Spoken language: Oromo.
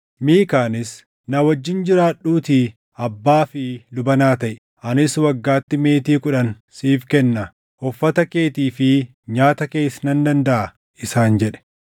Miikaanis, “Na wajjin jiraadhuutii abbaa fi luba naa taʼi; anis waggaatti meetii kudhan siif kenna; uffata keetii fi nyaata kees nan dandaʼa” isaan jedhe.